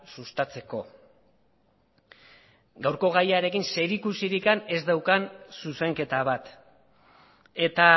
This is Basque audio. sustatzeko gaurko gaiarekin zerikusirik ez daukan zuzenketa bat eta